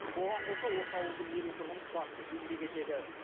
оған қоса осы ауылдың елу тұрғыны тұрақты еңбек етеді